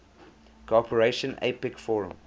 cooperation apec forum